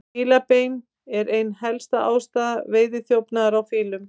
Fílabein er ein helsta ástæða veiðiþjófnaðar á fílum.